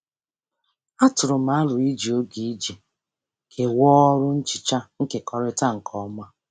Atụrụ m aro iji oge iji kewaa ọrụ nhicha nkekọrịta nke ọma.